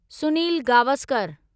Sunil Gavaskar